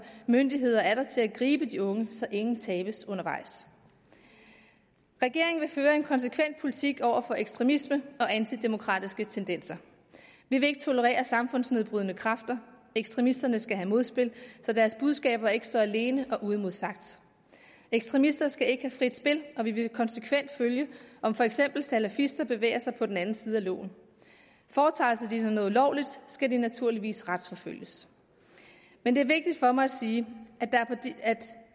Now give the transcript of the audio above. myndigheder er der til at gribe de unge så ingen tabes undervejs regeringen vil føre en konsekvent politik over for ekstremisme og antidemokratiske tendenser vi vil ikke tolerere samfundsnedbrydende kræfter ekstremisterne skal have modspil så deres budskaber ikke står alene og står uimodsagt ekstremister skal ikke have frit spil og vi vil konsekvent følge om for eksempel salafister bevæger sig på den forkerte side af loven foretager de sig noget ulovligt skal de naturligvis retsforfølges men det er vigtigt for mig at sige